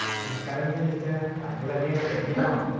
Speaker 1 നമസ്കാരം സുനീറ്റ താങ്കൾ എവിടെയാണ് തെരക്കിലാണോ?